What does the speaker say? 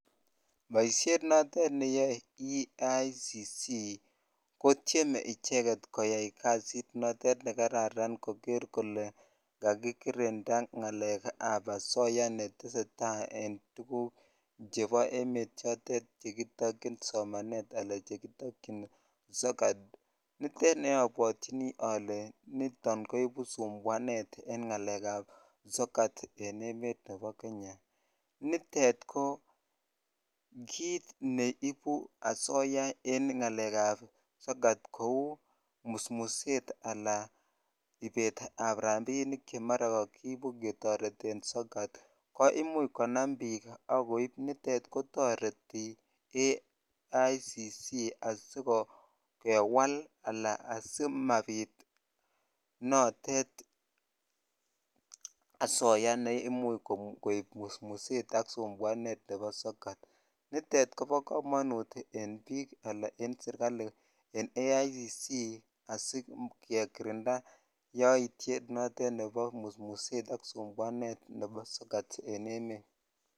Boishet notet neyoe EACC kotieme icheket koyai kasit notet nekararan koker kolee kakikirinda ngalekab asoya netesetaa en tukuk chebo emet chotet chekitokyin somanet alaa chekitokyin sokat, nitet nebwotyini olee niton koibu sumbuanet en ng'alekab sokat en emet nebo Kenya, nitet ko kiit neibu asoya en ng'alekab sokat kouu musmuset alaa ibeetab rabinik chemara kokiibu ketoreten sokat ko imuch konam biik ak koib, nitet kotoreti EACC asikewal alaa asimanbit notet asoya neimuch koib musmuset ak sumbuanet nebo sokat, nitet kobokomonut en biik alaa en serikali en EACC asikekirinda yoiyet notet nebo musmuset ak sumbuanet nebo sokat en emet.